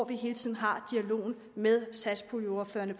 vi hele tiden har dialogen med satspuljeordførerne